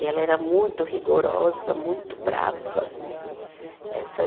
E ela era muito rigorosa, muito brava né. Essa